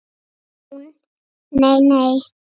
Hún: Nei nei.